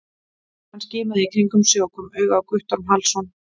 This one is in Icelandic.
Hann skimaði í kringum sig og kom auga á Guttorm Hallsson.